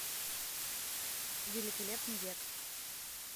великолепный век